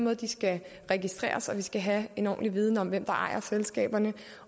at de skal registreres og at vi skal have en ordentlig viden om hvem der ejer selskaberne